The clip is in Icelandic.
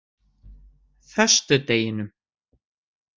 föstudeginum